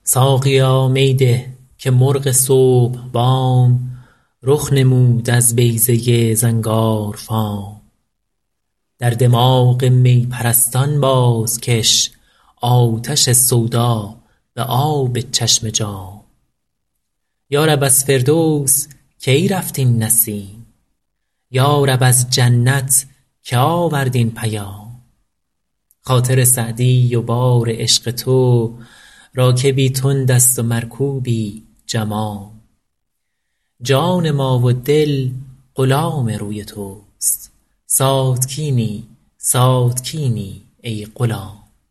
ساقیا می ده که مرغ صبح بام رخ نمود از بیضه زنگارفام در دماغ می پرستان بازکش آتش سودا به آب چشم جام یا رب از فردوس کی رفت این نسیم یا رب از جنت که آورد این پیام خاطر سعدی و بار عشق تو راکبی تند است و مرکوبی جمام جان ما و دل غلام روی توست ساتکینی ساتکینی ای غلام